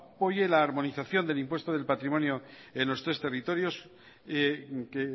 apoye la armonización del impuesto del patrimonio en los tres territorios que